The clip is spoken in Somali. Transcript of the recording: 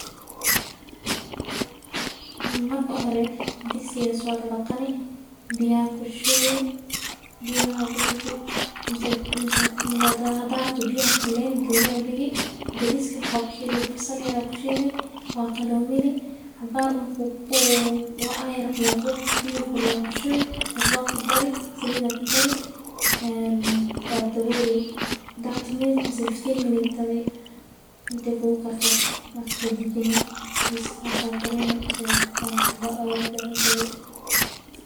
Marka u hore digai aya sodadqi marka biya aya kushubi bariska basal yar aya kushili marka cusba aya kudari biya aya kudari waa dawoli kadib waa kaso dajini marka aya ridhi.